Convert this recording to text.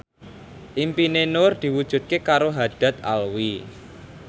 impine Nur diwujudke karo Haddad Alwi